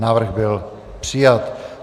Návrh byl přijat.